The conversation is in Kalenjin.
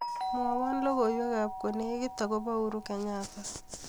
Mwowo logoiwwkab kolekit akobo Uhuru Kenyatta